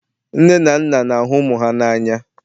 nne na nna na-ahụ ụmụ ha n'anya